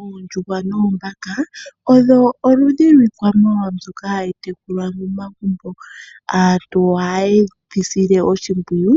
Oondjuhwa noombaka odho oludhi lwiikwamawawa mbyoka hayi tekulwa momagumbo. Aantu ohaye yi sile oshimpwiyu